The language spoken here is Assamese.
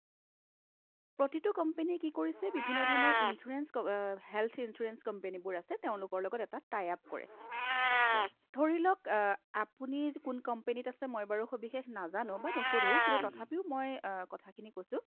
প্ৰতিটো company য়ে কি কৰিছে বিভিন্নধৰণৰ insurance হ অ health insurance company বোৰ আছে তেওঁলোকৰ লগত এটা tie-up কৰে ধৰিলওক অ আপুনি কোন companyত আছে মই বাৰু সবিশেষ নাজানো বা নোশোধো তথাপিও মই কথাখিনি কৈছো